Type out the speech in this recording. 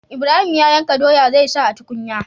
Ibrahim ya yanka doya zai sa a tukunya